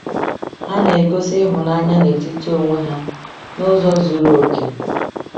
Ha na-egosi ịhụnanya n’etiti onwe ha n’ụzọ zuru oke.